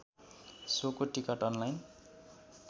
सोको ticket online